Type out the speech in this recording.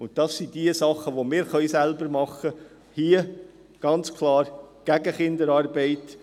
Das sind die Dinge, die wir selbst tun können, ganz klar gegen Kinderarbeit.